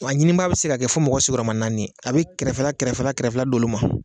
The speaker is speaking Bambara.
Wa a ɲini baa be se ka kɛ fɔ mɔgɔ sigiyɔrɔma naani ye a be kɛrɛfɛ la kɛrɛfɛ la kɛrɛfɛla d'olu ma